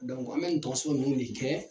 an bɛ nin tɔso ninnu de kɛ